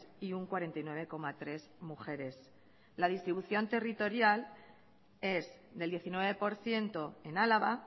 y un cuarenta y nueve coma tres mujeres la distribución territorial es del diecinueve por ciento en álava